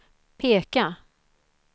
peka